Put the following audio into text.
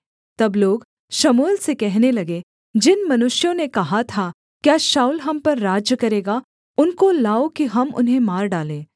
तब लोग शमूएल से कहने लगे जिन मनुष्यों ने कहा था क्या शाऊल हम पर राज्य करेगा उनको लाओ कि हम उन्हें मार डालें